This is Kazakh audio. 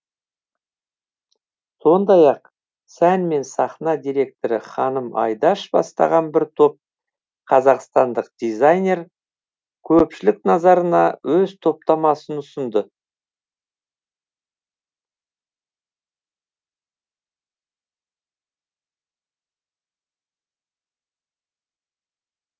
сондай ақ сән мен сахна директоры ханым айдаш бастаған бір топ қазақстандық дизайнер көпшілік назарына өз топтамасын ұсынды